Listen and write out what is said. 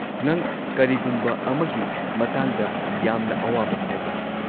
ꯅꯪ ꯀꯔꯤꯒꯨꯝꯕ ꯑꯃꯒꯤ ꯃꯇꯥꯡꯗ ꯌꯥꯝꯅ ꯑꯋꯥꯕ ꯐꯥꯎꯕ꯭ꯔꯥ?